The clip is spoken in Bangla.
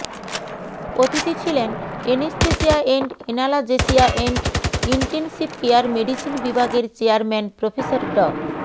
অতিথি ছিলেন anesthesia and analgesia and intensive care medicine বিভাগের চেয়ারম্যান প্রফেসরডা